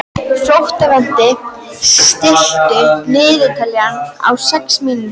Flóvent, stilltu niðurteljara á sex mínútur.